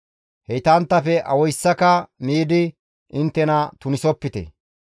Heytanttafe awayssaka miidi inttena tunisopite.